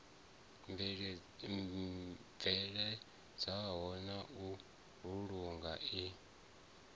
bveledzwaho na u vhulungwa i